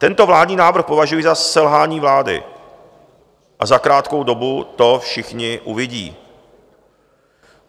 Tento vládní návrh považuji za selhání vlády a za krátkou dobu to všichni uvidí.